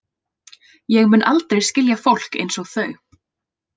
Ég mun aldrei skilja fólk einsog þau.